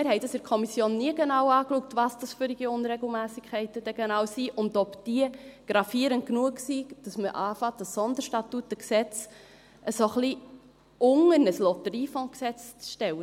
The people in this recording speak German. Wir haben in der Kommission nie genau angeschaut, was das denn genau für Unregelmässigkeiten sind und ob diese gravierend genug sind, sodass man beginnt, dieses SStG ein wenig unter ein LotG zu stellen.